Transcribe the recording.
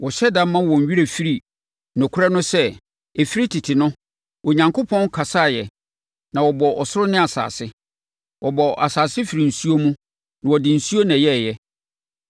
Wɔhyɛ da ma wɔn werɛ firi nokorɛ no sɛ, ɛfiri tete no, Onyankopɔn kasaeɛ na wɔbɔɔ ɔsoro ne asase. Wɔbɔɔ asase firi nsuo mu na wɔde nsuo na ɛyɛeɛ.